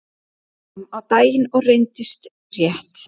Þetta kom á daginn og reyndist rétt.